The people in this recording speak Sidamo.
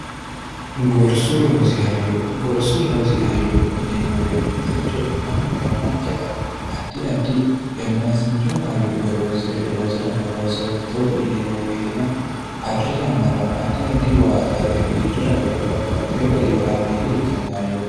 gorsu loosi hayyo yineemmo woyite techo mannu yannankera addi addi yannaasincho hayyo horoonsire loosi'ranno loosooti togo yineemmo weeteno arri yannara addi addi waa dare giddora qole babbaxxeyo gari horaameeyya ikkanno hayyooti